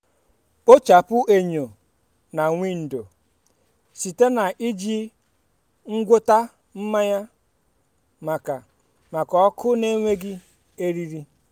kpochapụ enyo na windo site na iji ngwọta mmanya maka maka ọkụ na-enweghị eriri.